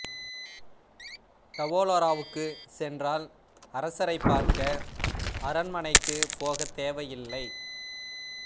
டவோலோராவுக்கு சென்றால் அரசரை பார்க்க அரண்மனைக்கு போக தேவை இல்லை